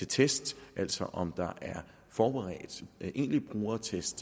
test altså om der er forberedt egentlig brugertest